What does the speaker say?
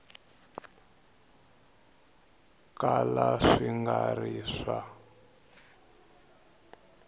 kala swi nga ri swa